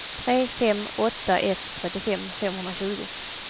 tre fem åtta ett trettiofem femhundratjugo